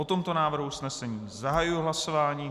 O tomto návrhu usnesení zahajuji hlasování.